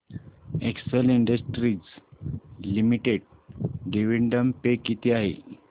Excel Industries Limited dividend pay किती आहे